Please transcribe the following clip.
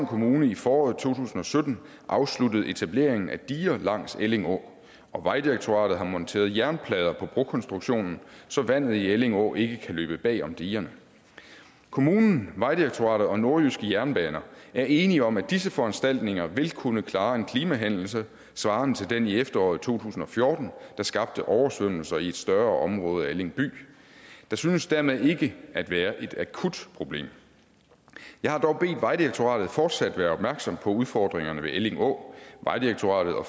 kommune i foråret to tusind og sytten afsluttet etableringen af diger langs elling å og vejdirektoratet har monteret jernplader på brokonstruktionen så vandet i elling å ikke kan løbe bagom digerne kommunen vejdirektoratet og nordjyske jernbaner er enige om at disse foranstaltninger vil kunne klare en klimahændelse svarende til den i efteråret to tusind og fjorten der skabte oversvømmelser i et større område af elling by der synes dermed ikke at være et akut problem jeg har dog bedt vejdirektoratet om fortsat at være opmærksom på udfordringerne ved elling å vejdirektoratet og